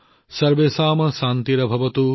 সৰ্বেশম শান্তি ভৱতু